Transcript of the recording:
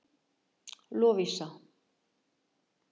Lovísa